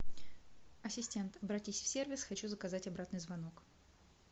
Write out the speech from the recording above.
асистент обратись в сервис хочу заказать обратный звонок